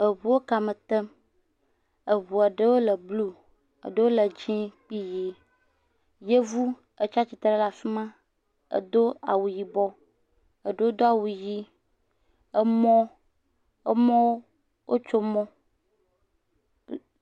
Eŋuwo kame tem, eŋua ɖewo le blu, eɖewo le dzɛ kple ʋi. yevuwo tsia tsitre ɖe afima edo awu yibɔ eɖewo do awu ʋi. Emɔ, emɔ wotso mɔ.